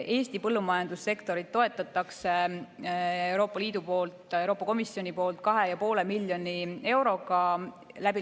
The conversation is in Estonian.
Eesti põllumajandussektorit toetab Euroopa Liit, Euroopa Komisjon 2,5 miljoni euroga.